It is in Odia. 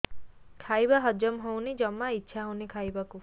ଖାଇବା ହଜମ ହଉନି ଜମା ଇଛା ହଉନି ଖାଇବାକୁ